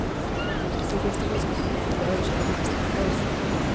Nu finns det risk att regeringen blir överkörd av riksdagen i frågan.